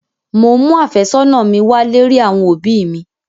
Mò ń mú àfẹ́sọ́nà mi wálé rí àwọn òbí mi.